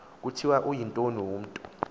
kuthiwa uyintoni umntu